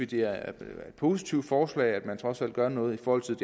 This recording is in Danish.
det er et positivt forslag og at man trods alt gør noget i forhold til